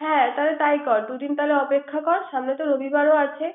হ্যা তাহলে তাই কর দুদিন তাহলে অপেক্ষা কর সামনেতো রবিবার ও আছে।